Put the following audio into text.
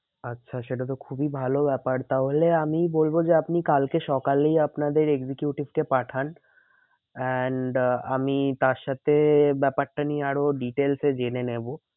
আচ্ছা সেটা তো খুবই ভালো ব্যাপার তাহলে আমি বলবো যে আপনি কালকে সকালেই আপনাদের executive কে পাঠান and আহ আমি তার সাথে ব্যাপারটা নিয়ে আরো details এ জেনে নেবো।